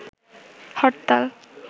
হরতাল